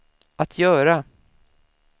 att göra